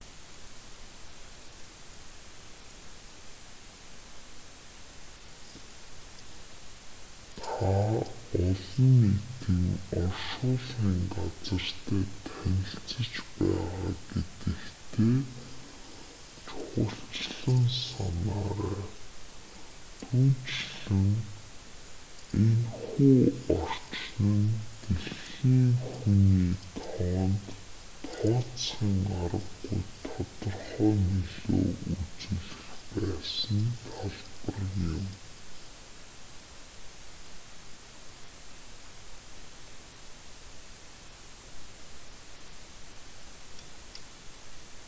та олон нийтийн оршуулгын газартай танилцаж байгаа гэдэгтээ чухалчлан санаарай түүнчлэн энэ хүү орчин нь дэлхийн хүний тоонд тооцхийн аргагүй тодорхой нөлөө үзүүлэх байсан талбар юм